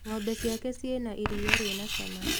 Ng'ombe ciake ciĩna iria rĩna cama